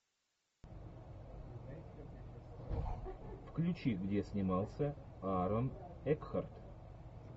включи где снимался аарон экхарт